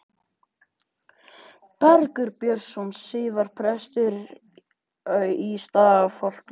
Bergur Björnsson, síðar prestur í Stafholti.